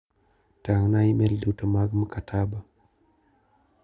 Tang'na imel duto mag Mkataba.